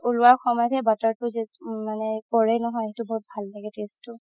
উলোৱা সময়তে হে butter তো just মানে পৰে নহয় সেইটো বহুত ভাল লাগে taste তো